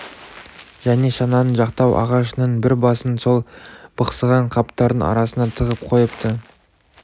және шананың жақтау ағашының бір басын сол бықсыған қаптардың арасына тығып қойыпты